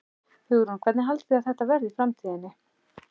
Hugrún: Hvernig haldið þið að þetta verði í framtíðinni?